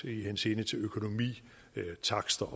i henseende til økonomi takster